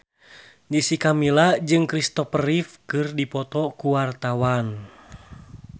Jessica Milla jeung Christopher Reeve keur dipoto ku wartawan